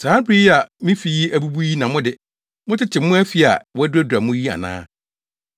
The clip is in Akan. “Saa bere yi a me fi yi abubu yi na mo de, motete mo afi a wɔaduradura mu yi ana?”